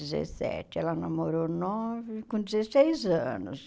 dezessete. Ela namorou nove com dezesseis anos.